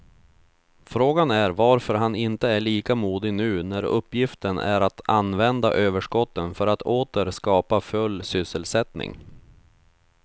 Frågan är varför han inte är lika modig nu när uppgiften är att använda överskotten för att åter skapa full sysselsättning.